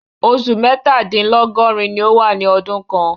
Òṣù mẹ̀tadílọ́gọ̀rìn ní o wà ní ọdún kàn